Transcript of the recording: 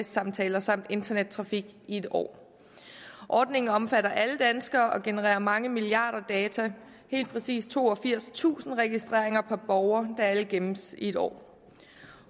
samtaler samt internettrafik i en år ordningen omfatter alle danskere og genererer mange milliarder data helt præcis toogfirstusind registreringer per borger der alle gemmes i en år